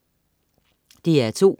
DR2: